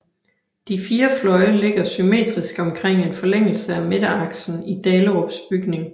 De fire fløje ligger symmetrisk omkring en forlængelse af midteraksen i Dahlerups bygning